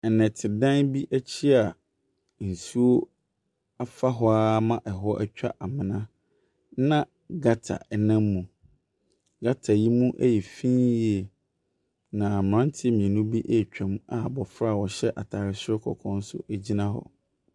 Nnɛtedan bi akyi a nsuo afa hɔ ara ma hɔ atwa amona, na gutter nam mu. Gutter yi mu ɛyɛ fi yie. Na mmeranteɛ mmienu ɛretwa mu a abɔfra a ɔhyɛ ataare soro kɔkɔɔ nso gyina hɔ.